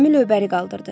Gəmi ləpəri qaldırdı.